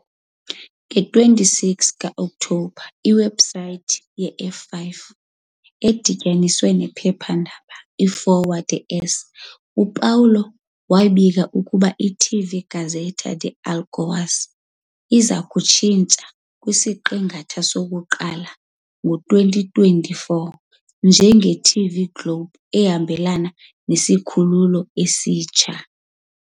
Nge-26 ka-Okthobha, iwebhusayithi ye-F5, edityaniswe nephephandaba "iFolha de S." "Paulo", wabika ukuba i-TV Gazeta de Alagoas iya kutshintshwa kwisiqingatha sokuqala se-2024 njenge-TV Globo ehambelana nesikhululo esitsha.